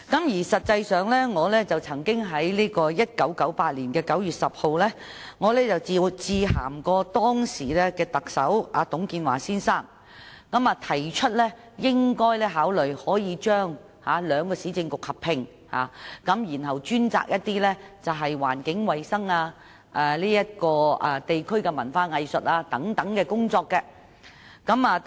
事實上，我曾於1998年9月10日致函當時的特首董建華先生，提出政府應考慮將兩個市政局合併，由其專責環境衞生、地區文化藝術等工作。